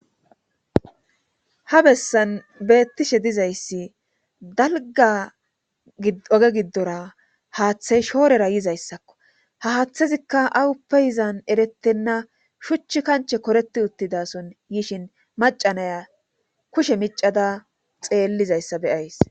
Ha bessan beettishe dizayssi dalga oge giddora haaththey shoorera yizayssakko ha haaththezikka awu peyizan erettenna shuchch kanche koreti uttidason yishin macanaya kushe micada xeellizayssa beyays.